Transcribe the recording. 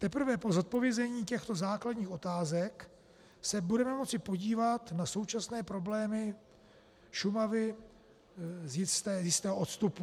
Teprve po zodpovězení těchto základních otázek se budeme moci podívat na současné problémy Šumavy z jistého odstupu.